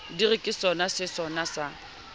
di re ke sonasesosa sa